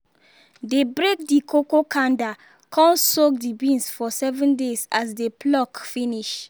dey break the cocoa kanda con soak the beans for seven days as dey pluck finish